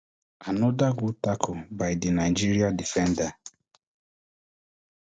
anoda good tackle by di nigeria defender